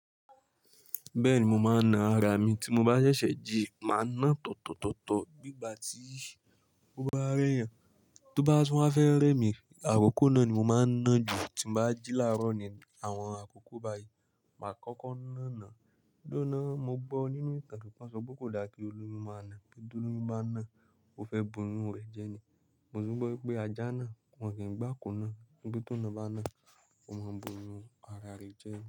Bẹ́ẹ̀ni, mo máa ń na ara mi tí mo bá ṣẹ̀ṣẹ̀ jí, màá ná tọ̀tọ̀tọ̀tọ̀ bí ìgbà tí ó bá rẹ́ yàn. Tó bá tún wá fẹ́ rẹ́ mi, àkókó náà ni mo máa ń ná jù. Tín bá jí ní àárọ̀ ní àwọn àkókò báyì, ma a kọ́ kọ́ ná náà. Dúró ná, mo gbọ́ nínú ìtàn pé wọ́n sọ pé kò dá kí olóyún máa ná pé bí olóyún bá ná ó fẹ́ bà oyún rẹ̀ jẹ ni. Mo tún gbọ́ wípé ajá náà wọ́n kì í gbá kọ́ ná wípé tòna bá ná, ó máa bà oyún ara rẹ̀ jẹ ni.